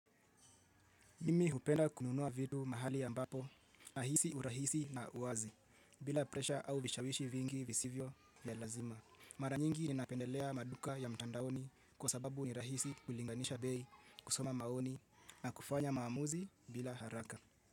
Mimi hupenda kununua vitu mahali ya ambapo, nahisi urahisi na uwazi, bila presha au vishawishi vingi visivyo vya lazima. Mara nyingi ninapendelea maduka ya mtandaoni kwa sababu ni rahisi kulinganisha bei kusoma maoni na kufanya maamuzi bila haraka.